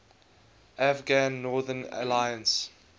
afghan northern alliance